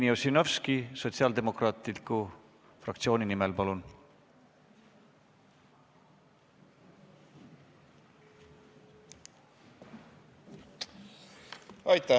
Jevgeni Ossinovski Sotsiaaldemokraatliku Erakonna fraktsiooni nimel, palun!